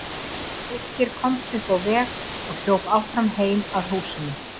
Birkir komst upp á veg og hljóp áfram heim að húsunum.